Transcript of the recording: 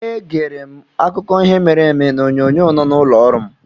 Egere m akụkọ ihe mere eme n'onyonyo nọ n'ụlọ ọrụ m.